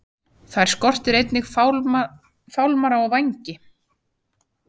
Þær skortir einnig fálmara og vængi.